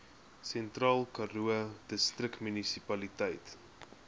sentraalkaroo distriksmunisipaliteit